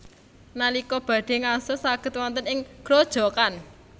Nalika badhé ngaso saged wonten ing grojogan